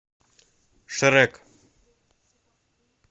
шрек